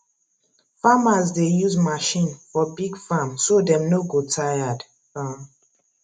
farmers dey use machine for big farm so dem no go tired um